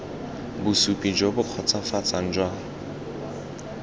bosupi jo bo kgotsofatsang jwa